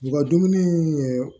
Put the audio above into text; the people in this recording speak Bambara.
U ka dumuni ye